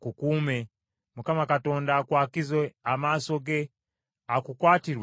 Mukama Katonda akwakize amaaso ge akukwatirwe ekisa;